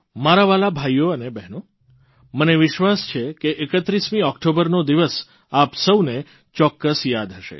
મારા વ્હાલા ભાઇઓ અને બહેનો મને વિશ્વાસ છે કે 31 ઓકટોબરનો દિવસ આપ સૌને ચોક્કસ યાદ હશે